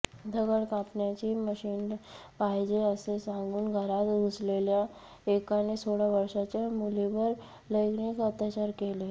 दगड कापण्याची मशीन पाहिजे असे सांगून घरात घुसलेल्या एकाने सोळा वर्षाच्या मुलीवर लैंगिक अत्याचार केले